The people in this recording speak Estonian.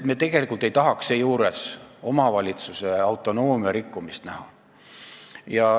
Me tegelikult ei tahaks seejuures omavalitsuse autonoomia vähendamist näha.